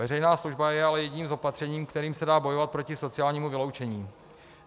Veřejná služba je ale jedním z opatření, kterým se dá bojovat proti sociálnímu vyloučení.